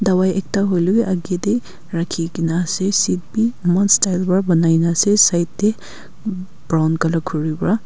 dawai ekta hoilae bi akae tae rakhikaena ase seat bi eman style pra banaina ase side tae brown colour khuri pra.